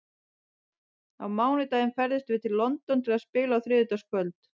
Á mánudag ferðumst við til London til að spila á þriðjudagskvöld.